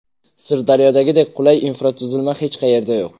Sirdaryodagidek qulay infratuzilma hech qayerda yo‘q.